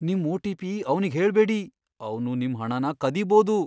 ನಿಮ್ ಒ.ಟಿ.ಪಿ. ಅವ್ನಿಗ್ಹೇಳ್ಬೇಡಿ. ಅವ್ನು ನಿಮ್ ಹಣನ ಕದಿಬೋದು.